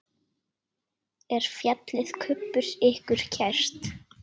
Er fjallið Kubbur ykkur kært?